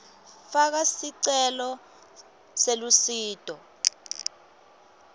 faka sicelo selusito